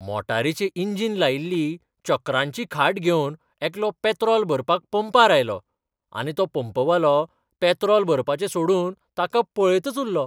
मोटारीचें engine लायिल्ली चक्रांची खाट घेवन एकलो पॅत्रॉल भरपाक पंपार आयलो आनी तो पंपवालो पॅत्रॉल भरपाचें सोडून ताका पळयतच उल्लो.